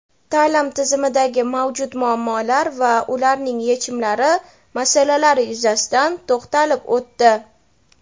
ta’lim tizimidagi mavjud muammolar va ularning yechimlari masalalari yuzasidan to‘xtalib o‘tdi.